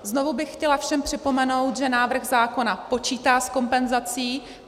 Znovu bych chtěla všem připomenout, že návrh zákona počítá s kompenzací.